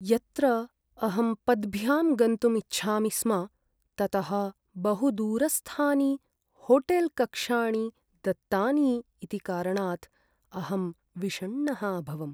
यत्र अहं पद्भ्यां गन्तुम् इच्छामि स्म, ततः बहुदूरस्थानि होटेल्कक्षाणि दत्तानि इति कारणात् अहं विषण्णः अभवम्।